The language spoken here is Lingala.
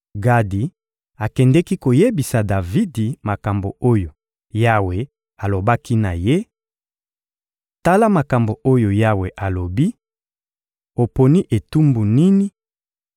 Gadi akendeki koyebisa Davidi makambo oyo Yawe alobaki na ye: — Tala makambo oyo Yawe alobi: «Oponi etumbu nini: